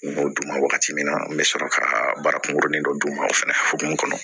N y'o d'u ma wagati min na n bɛ sɔrɔ ka baara kunkurunin dɔ d'u ma o fɛnɛ hokumu kɔnɔ